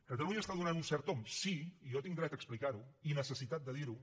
catalunya està donant un cert tomb sí i jo tinc dret a explicar ho i necessitat de dir ho